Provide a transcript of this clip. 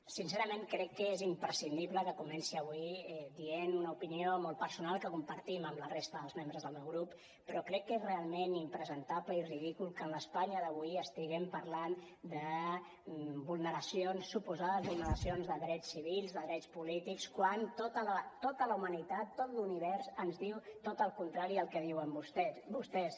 sincerament crec que és imprescindible que comenci avui dient una opinió molt personal que compartim amb la resta dels membres del meu grup però crec que és realment impresentable i ridícul que en l’es·panya d’avui estiguem parlant de vulneracions suposades vulneracions de drets ci·vils de drets polítics quan tota la humanitat tot l’univers ens diu tot el contrari al que diuen vostès